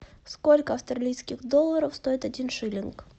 сколько австралийских долларов стоит один шиллинг